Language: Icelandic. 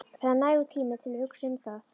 Það er nægur tími til að hugsa um það.